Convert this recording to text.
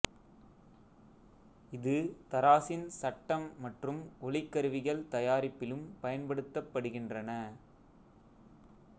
இது தராசின் சட்டம் மற்றும் ஒளிக்கருவிகள் தயாரிப்பிலும் பயன்படுத்தப் படுகின்றன